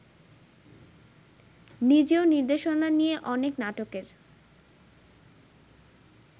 নিজেও নির্দেশনা নিয়ে অনেক নাটকের